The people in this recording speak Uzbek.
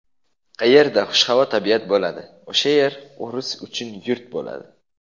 Qayerda xushhavo tabiat bo‘ladi — o‘sha yer o‘ris uchun yurt bo‘ladi.